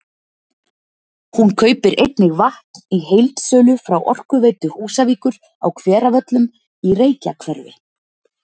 Hún kaupir einnig vatn í heildsölu frá Orkuveitu Húsavíkur á Hveravöllum í Reykjahverfi.